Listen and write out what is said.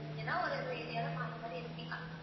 போறீங்கன்னா ஒரு ஒரு area ல மாறி மாறி இருப்பீங்க